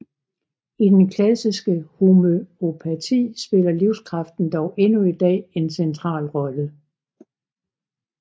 I den klassiske homøopati spiller livskraften dog endnu i dag en central rolle